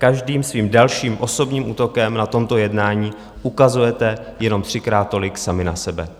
Každým svým dalším osobním útokem na tomto jednání ukazujete jenom třikrát tolik sami na sebe.